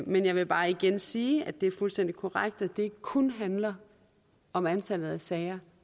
men jeg vil bare igen sige at det er fuldstændig korrekt at det ikke kun handler om antallet af sager